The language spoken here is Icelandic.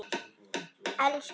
Elsku amma Didda.